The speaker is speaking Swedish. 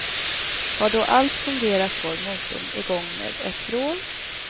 Har då allt fungerat går motorn i gång med ett vrål.